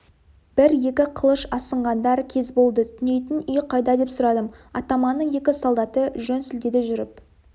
бір-екі қылыш асынғандар кез болды түнейтін үй қайда деп сұрадым атаманның екі солдаты жөн сілтеді жүріп